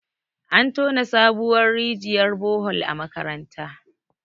an tona sabuwar rijiyar Bohol a makaranta